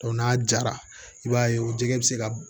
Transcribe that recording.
n'a jara i b'a ye o jɛgɛ bɛ se ka